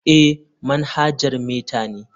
Eh, manhajar meta ne.